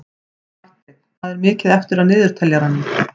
Marteinn, hvað er mikið eftir af niðurteljaranum?